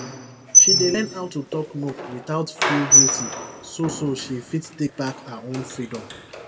she dey learn how to talk no without feel guilty so so she fit take back her own freedom